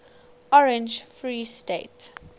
orange free state